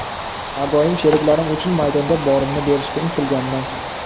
Har doim sheriklarim uchun maydonda borimni berishga intilganman.